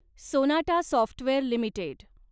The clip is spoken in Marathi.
Sonata software limited